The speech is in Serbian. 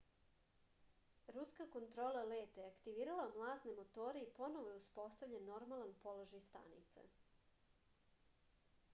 ruska kontrola leta je aktivirala mlazne motore i ponovo je uspostavljen normalan položaj stanice